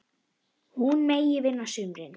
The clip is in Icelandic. Hún megi vinna á sumrin.